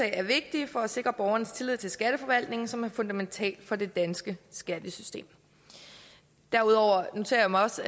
er vigtige for at sikre borgerens tillid til skatteforvaltningen som er fundamental for det danske skattesystem derudover noterer jeg mig også